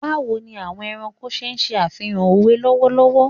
Bawo ni awọn ẹranko ṣe ṣe afihan owe lọwọlọwọ